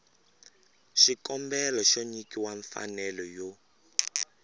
xikombelo xo nyikiwa mfanelo yo